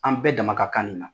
An bɛɛ dama ka kan nin na.